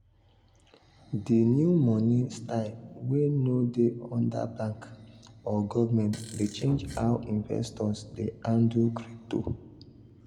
di new money style wey no dey under bank or government dey change how investors dey handle crypto.